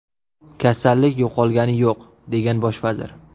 Kasallik yo‘qolgani yo‘q”, degan bosh vazir.